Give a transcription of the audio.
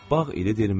Bağ ididirmi?